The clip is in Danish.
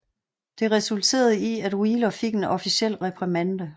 Det resulterede i at Wheeler fik en officiel reprimande